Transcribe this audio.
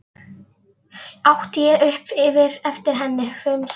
át ég upp eftir henni, hvumsa.